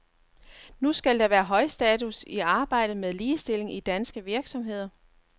Nu skal der være højstatus i arbejdet med ligestilling i danske virksomheder.